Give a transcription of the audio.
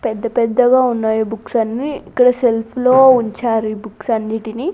పెద్ద పెద్దగా ఉన్నాయి బుక్స్ అన్నీ ఇక్కడ సెల్ఫ్ లో ఉంచారు ఈ బుక్స్ అన్నిటిని.